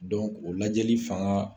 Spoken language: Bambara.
o lajɛli fanga